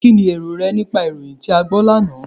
Kínni èrò rẹ nípa ìròyìn tí a gbọ́ lánàá?